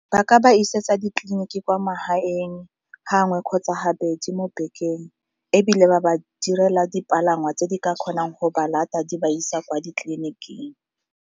Ba ka ba isetsa ditleliniki kwa magaeng gangwe kgotsa ga bedi mo bekeng, ebile ba ba direla dipalangwa tse di ka kgonang go ba di ba isa kwa ditleliniking.